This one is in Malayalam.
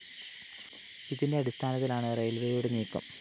ഇതിന്റെ അടിസ്ഥാനത്തിലാണ് റെയില്‍വേയുടെ നീക്കം